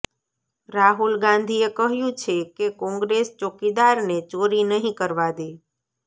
રાહુલ ગાંધીએ કહ્યું છે કે કોંગ્રેસ ચોકીદારને ચોરી નહીં કરવા દે